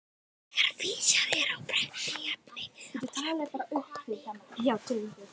Þegar vísað er á prenti í efni á vefnum koma ný viðhorf upp.